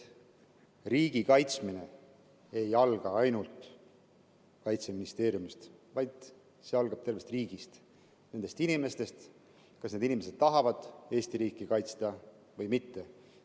Riigi kaitsmine ei alga ainult Kaitseministeeriumist, see algab tervest riigist, see algab inimestest, sellest, kas need inimesed tahavad Eesti riiki kaitsta või mitte.